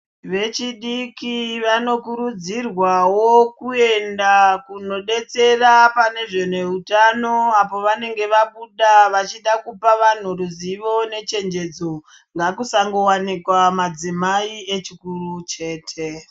Vechidiki vanokurudzirwawo kuenda kunodetsera pane zveneutano ,apo vanenge vabuda vachida kupa vanhu ruzivo nechenjedzo ,ngakusangowanikwa madzimai echikuru chete.